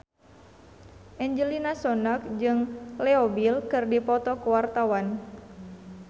Angelina Sondakh jeung Leo Bill keur dipoto ku wartawan